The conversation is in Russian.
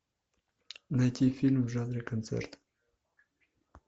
найти фильм в жанре концерт